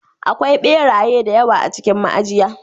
Akwai ɓeraye da yawa a cikin ma'ajiya.